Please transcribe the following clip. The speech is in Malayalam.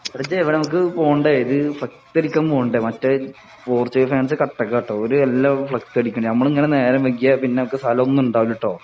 എടാ ഇജ്ജ് എവിടാ നമുക്ക് പോകേണ്ടെ ഇത് ഫ്ലെക്സ് അടിക്കാൻ മറ്റേ പോർച്ചുഗൽ ഫാൻസ് കട്ടക്കാ ട്ടൊ ഒര് എല്ലാം ഫ്ലെക്സ് അടിക്കണ് നമ്മള് ഇങ്ങനെ നേരം വൈകിയാല് പിന്നെ അമ്മക്ക് സ്ഥലം ഒന്നും ഉണ്ടാവൂല ട്ടൊ